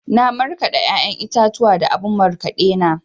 Na markaɗa ya'yan itatuwa a abun markaɗe na.